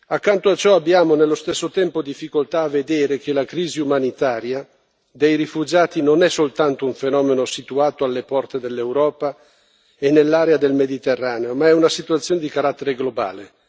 Accanto a ciò abbiamo, nello stesso tempo, difficoltà a vedere che la crisi umanitaria dei rifugiati non è soltanto un fenomeno situato alle porte dell'Europa e nell'area del Mediterraneo, ma è una situazione di carattere globale.